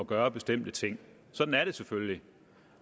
gøre bestemte ting sådan er det selvfølgelig